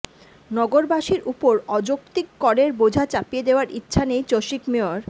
নগরবাসীর উপর অযৌক্তিক করের বোঝা চাপিয়ে দেয়ার ইচ্ছা নেই চসিক মেয়র